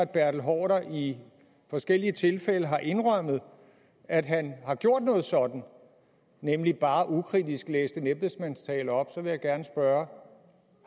bertel haarder i forskellige tilfælde har indrømmet at han har gjort noget sådant nemlig bare ukritisk læst en embedsmandstale op så vil jeg gerne spørge